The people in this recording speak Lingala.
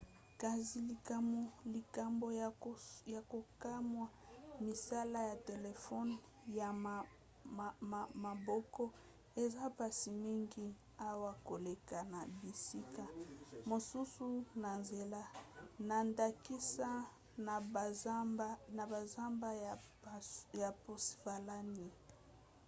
kasi likambo ya kokamwa misala ya telefone ya maboko eza mpasi mingi awa koleka na bisika mosusu na nzela na ndakisa na banzamba ya pennsylvanie